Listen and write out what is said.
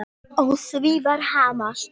Á því var hamast.